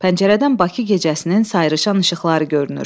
Pəncərədən Bakı gecəsinin sayrışan işıqları görünür.